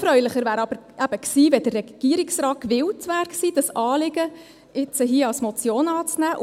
Noch erfreulicher wäre aber eben gewesen, wenn der Regierungsrat gewillt gewesen wäre, dieses Anliegen hier als Motion anzunehmen.